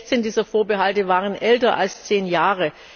16 dieser Vorbehalte waren älter als zehn Jahre.